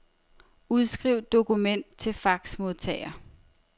Udskriv dokument til faxmodtager.